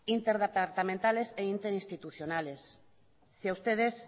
interdepartamentales e interinstitucionales si a ustedes